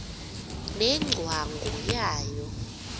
ne ngcwangu yayo